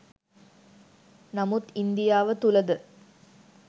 නමුත් ඉන්දියාව තුළ ද